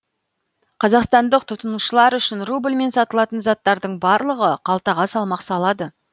қазақстандық тұтынушылар үшін рубльмен сатылатын заттардың барлығы қалтаға салмақ салады